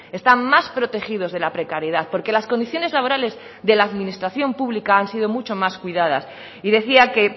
están más protegidos de la precariedad porque las condiciones laborales de la administración pública han sido mucho más cuidadas y decía que